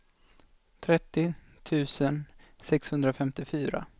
trettio tusen sexhundrafemtiofyra